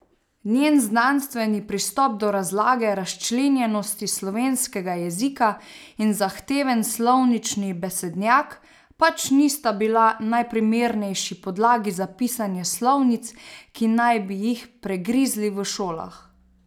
Njen znanstveni pristop do razlage razčlenjenosti slovenskega jezika in zahteven slovnični besednjak, pač nista bila najprimernejši podlagi za pisanje slovnic, ki naj bi jih pregrizli v šolah.